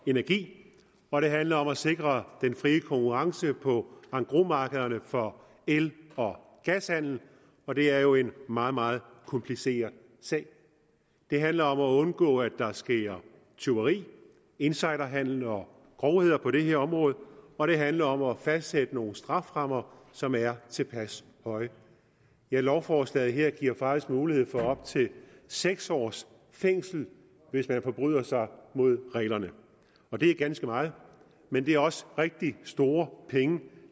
og energi og det handler om at sikre den fri konkurrence på engrosmarkederne for el og gashandel og det er jo en meget meget kompliceret sag det handler om at undgå at der sker tyveri insiderhandel og grovheder på det her område og det handler om at fastsætte nogle strafferammer som er tilpas høje ja lovforslaget her giver faktisk mulighed for op til seks års fængsel hvis man forbryder sig mod reglerne og det er ganske meget men det er også rigtig store penge